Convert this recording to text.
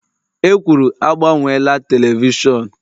E kwuru, agbanyela telivishọn!l